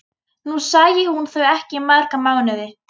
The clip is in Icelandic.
Nú sæi hún þau ekki í marga mánuði.